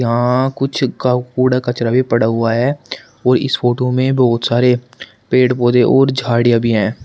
यहां कुछ कूड़ा कचड़ा भी पड़ा है और इस फोटो में बहोत सारे पेड़ पौधे और झाड़ियां भी हैं।